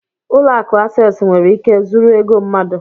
Ụlọ akụ Access nwere ike zuru ego mmadụ